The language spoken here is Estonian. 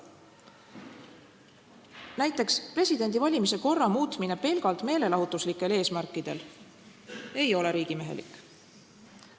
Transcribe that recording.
Näiteks, presidendi valimise korra muutmine pelgalt meelelahutuslikel eesmärkidel ei ole riigimehelik.